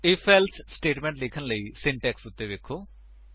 IfElse statement ਲਿਖਣ ਲਈ syntax ਉੱਤੇ ਵੇਖੋ